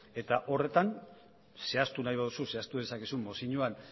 eta horretan zehaztu nahi baduzu zehaztu dezakezu mozioan